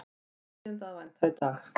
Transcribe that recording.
Tíðinda að vænta í dag